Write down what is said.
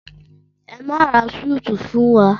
Ẹ máa ra súíìtì fún wa!